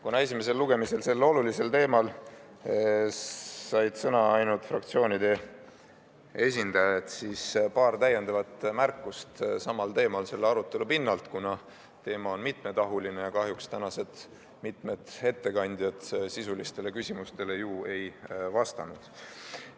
Kuna esimesel lugemisel said sellel olulisel teemal sõna ainult fraktsioonide esindajad, siis paar täiendavat märkust samal teemal selle arutelu pinnalt, kuna teema on mitmetahuline ja kahjuks tänased mitmed ettekandjad sisulistele küsimustele ju ei vastanud.